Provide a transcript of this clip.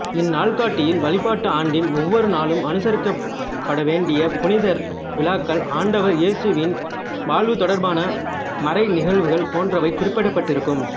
இந்நாள்காட்டியில் வழிபாட்டு ஆண்டின் ஒவ்வொரு நாளும் அனுசரிக்கப்பட வேண்டிய புனிதர் விழாக்கள் ஆண்டவர் இயேசுவின் வாழ்வுதொடர்பான மறைநிகழ்வுகள் போன்றவை குறிக்கப்பட்டிருக்கும்